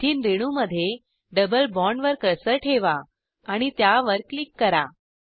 ethene रेणूमध्ये double बॉण्डवर cursor ठेवा आणि त्यावर क्लिक करा